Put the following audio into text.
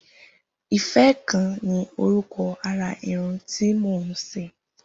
Ifẹ̀ kàn ni órùkọ̀ àrà irùn ti mó n ṣé